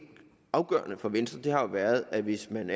afgørende for venstre jo har været at hvis man